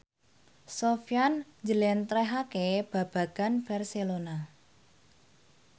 Sofyan njlentrehake babagan Barcelona